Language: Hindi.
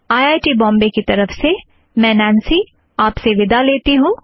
आईआईटी बम्बई की तरफ़ से मैं नॆन्सी आप से विदा लेती हूँ